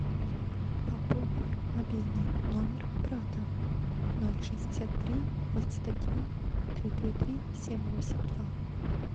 пополни мобильный номер брата ноль шестьдесят три восемьдесят один три три три семь восемь два